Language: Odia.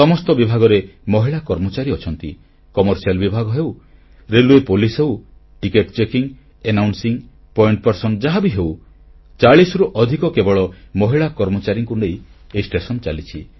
ସମସ୍ତ ବିଭାଗରେ ମହିଳା କର୍ମଚାରୀ ଅଛନ୍ତି କମର୍ସିଆଲ ବିଭାଗ ହେଉ ରେଲୱେ ପୋଲିସ ହେଉ ଟିକେଟ ଚେକିଂ ରେଡିଓ ଘୋଷଣା ପଏଣ୍ଟସ୍ ମନ୍ ଯାହାବି ହେଉ 40 ରୁ ଅଧିକ କେବଳ ମହିଳା କର୍ମଚାରୀଙ୍କୁ ନେଇ ଏ ଷ୍ଟେସନ ଚାଲିଛି